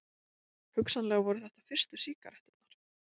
Hugsanlega voru þetta fyrstu sígaretturnar.